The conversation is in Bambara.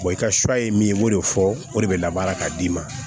i ka suya ye min ye i b'o de fɔ o de bɛ labaara ka d'i ma